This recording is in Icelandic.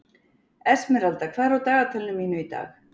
Esmeralda, hvað er á dagatalinu mínu í dag?